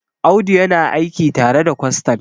Audu yana aiki tare da kwastan